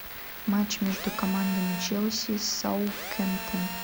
матч между командами челси саутгемптон